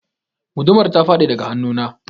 Gudumar ta faɗi daga hannu na.